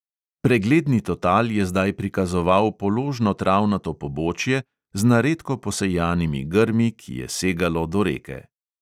Pregledni total je zdaj prikazoval položno travnato pobočje, z na redko posejanimi grmi, ki je segalo do reke.